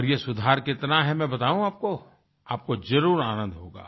और ये सुधार कितना है मैं बताऊं आपको आपको जरुर आनंद होगा